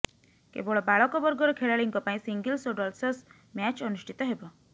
କେବଳ ବାଳକ ବର୍ଗର ଖେଳାଳିଙ୍କ ପାଇଁ ସିଙ୍ଗିଲ୍ସ ଓ ଡଲ୍ସସ୍ ମ୍ୟାଚ୍ ଅନୁଷ୍ଠିତ ହେବ